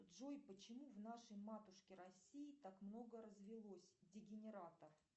джой почему в нашей матушке россии так много развелось дегенератов